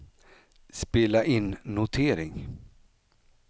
spela in notering